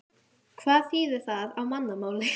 Hvað þýðir það á mannamáli?